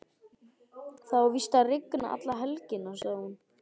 Það á víst að rigna alla helgina, sagði hún.